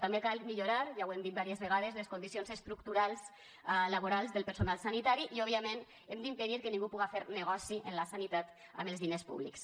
també cal millorar ja ho hem dit vàries vegades les condicions estructurals laborals del personal sanitari i òbviament hem d’impedir que ningú puga fer negoci amb la sanitat amb els diners públics